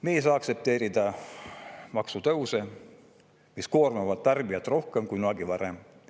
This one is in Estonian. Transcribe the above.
Me ei saa aktsepteerida maksutõuse, mis koormavad tarbijat rohkem kui kunagi varem.